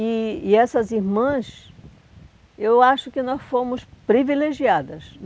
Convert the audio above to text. E e essas irmãs, eu acho que nós fomos privilegiadas.